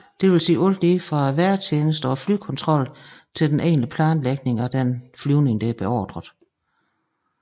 Det vil sige alt lige fra vejrtjenesten og flyvekontrollen til den egentlige planlægning af den beordrede flyvning